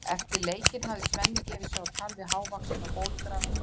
Eftir leikinn hafði Svenni gefið sig á tal við hávaxinn og bólugrafinn